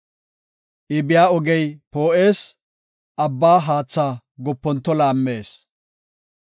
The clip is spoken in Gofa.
Iya biya ogey poo7ees; abba haatha goponto laammees.